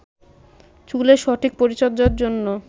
চুলের সঠিক পরিচর্চার জন্য